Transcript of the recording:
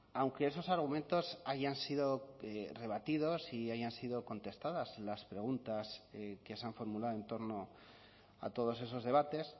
aunque esos argumentos hayan sido rebatidos y hayan sido contestadas las preguntas que se han formulado en torno a todos esos debates